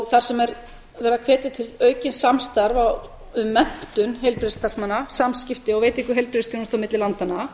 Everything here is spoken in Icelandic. þar sem er verið að hvetja til aukins samstarfs um menntun heilbrigðisstarfsmanna samskipti og veitingu heilbrigðisþjónustu á milli landanna